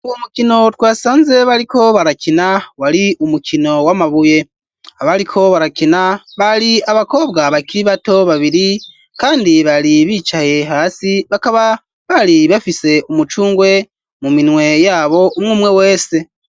Uwo mukino twasanze bariko barakina wari umukino w'amabuye abariko barakina bari abakobwa bakiri bato babiri kandi bari bicaye hasi bakaba bari bafise umucungwe mu minwe yabo umwe 'umwe wese.